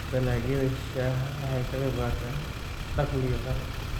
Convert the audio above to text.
Dalagyada shaaha waxay ka qaybqaataan dakhliga qaran.